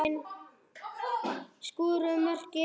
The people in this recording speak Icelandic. Hverjir skoruðu mörkin?